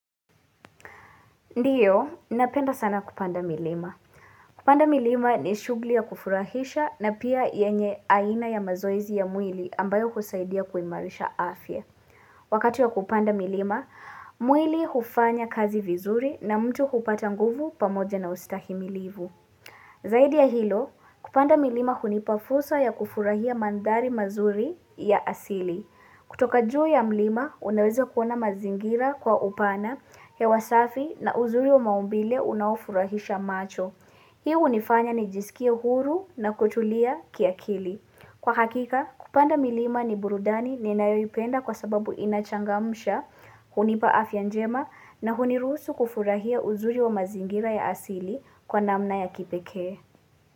Ndiyo, napenda sana kupanda milima. Kupanda milima ni shugli ya kufurahisha na pia yenye aina ya mazoezi ya mwili ambayo kusaidia kuimarisha afye. Wakati ya kupanda milima, mwili hufanya kazi vizuri na mtu hupata nguvu pamoja na ustahi milivu. Zaidi ya hilo, kupanda milima hunipa fursa ya kufurahia mandari mazuri ya asili. Kutoka juu ya mlima unaweza kuona mazingira kwa upana hewa safi na uzuri wa maumbile unaofurahisha macho. Hiu unifanya nijisikie huru na kutulia kiakili. Kwa hakika kupanda milima ni burudani ninayoipenda kwa sababu inachangamsha hunipa afya njema na hunirusu kufurahia uzuri wa mazingira ya asili kwa namna ya kipeke.